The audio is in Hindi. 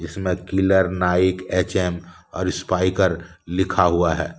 इसमें किलर नाइक एच_एम और स्पाईकर लिखा हुआ है ।